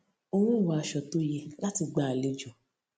n ò wọ aṣọ tó yẹ láti gba àlejò